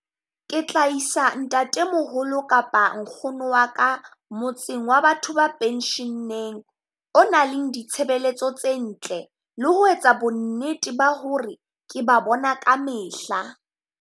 Ke tla isa ntatemoholo kapa nkgono wa ka motseng wa batho ba pension-ng? O nang le ditshebeletso tse ntle le ho etsa bonnete ba ho re ke ba bona ka mehla.